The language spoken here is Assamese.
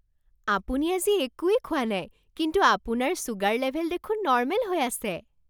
আপুনি আজি একোৱেই খোৱা নাই কিন্তু আপোনাৰ ছুগাৰ লেভেল দেখোন নৰ্মেল হৈ আছে!